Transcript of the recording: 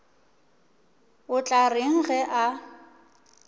o tla reng ge a